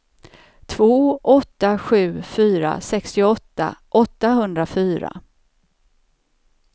två åtta sju fyra sextioåtta åttahundrafyra